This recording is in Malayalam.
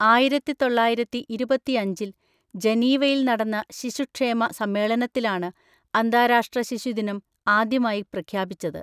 ആയിരത്തിതൊള്ളയിരത്തിഇരുപത്തിഅഞ്ചിൽ ജനീവയിൽ നടന്ന ശിശുക്ഷേമ സമ്മേളനത്തിലാണ് അന്താരാഷ്ട്ര ശിശുദിനം ആദ്യമായി പ്രഖ്യാപിച്ചത്.